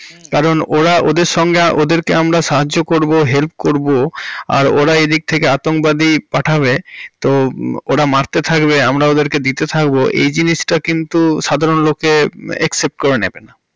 কারণ ওরা ওদের সঙ্গে ওদেরকে আমরা সাহায্য করবো, help করবো আর ওরা এদিক থেকে অত্যাঙ্গবাদী পাঠাবে। তো ওরা মারতে থাকবে আমরা ওদেরকে দিতে থাকবো এই জিনিসটা কিন্তু সাধারণ লোকে accept করে নেবে না।